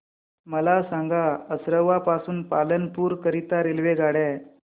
मला सांगा असरवा पासून पालनपुर करीता रेल्वेगाड्या